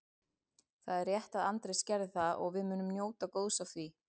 Það er rétt að Andrés gerði það og við munum njóta góðs af því.